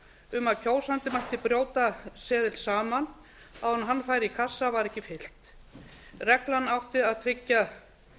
um að kjósandi mætti brjóta seðil saman áður en hann færi í kassa var ekki fylgt reglan átti að tryggja